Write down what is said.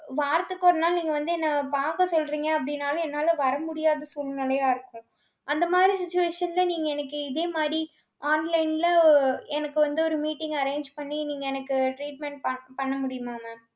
வாரத்துக்கு ஒரு நாள், நீங்க வந்து, என்னை பார்க்க சொல்றீங்க, அப்படினாலும் என்னால வர முடியாத சூழ்நிலையா இருக்கும். அந்த மாதிரி, situation ல நீங்க எனக்கு, இதே மாதிரி online ல எனக்கு வந்து ஒரு meeting arrange பண்ணி நீங்க எனக்கு treatment பண்~ பண்ண முடியுமா ma'am